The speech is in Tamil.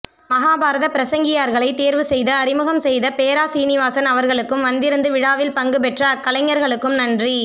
மகாபாரதப் பிரசங்கியார்களை தேர்வுசெய்து அறிமுகம் செய்த பேரா சீனிவாசன் அவர்களுக்கும் வந்திருந்து விழாவில் பங்குபெற்ற அக்கலைஞர்களுக்கும் நன்றி